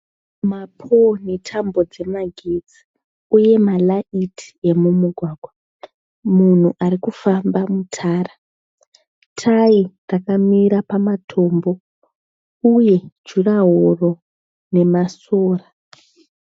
Ma pole netambo dzemagetsi. Uye ma light emumugwagwa. Munhu arikufamba mutara. Tayi rakamira pama tombo. Uye juraworo nema sora.